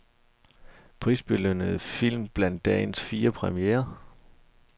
Prisbelønnede film blandt dagens fire premierer.